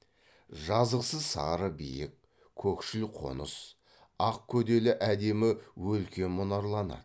жазықсыз сары биік көкшіл қоныс ақ көделі әдемі өлке мұнарланады